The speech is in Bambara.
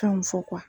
Kan fɔ